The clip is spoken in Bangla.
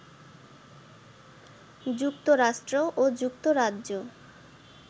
যুক্তরাষ্ট্র ও যুক্তরাজ্য